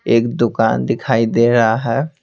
एक दुकान दिखाई दे रहा है।